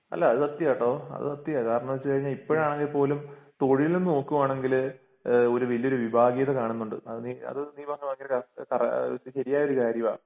അല്ല അത് സത്യാട്ടോ അത് സത്യാ കാരണോന്ന് വെച്ച് കഴിഞ്ഞാൽ ഇപ്പോഴാണെ പോലും തൊഴിൽ നോക്കുവാണെങ്കിൽ ഇഹ് ഒരു വലിയൊരു വിഭാഗീത കാണുന്നുണ്ട് അത് അത് നീ പറഞ്ഞപോലെ ശെരിയായൊരു കാര്യവാ